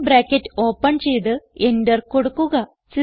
curly bracket open ചെയ്ത് enter കൊടുക്കുക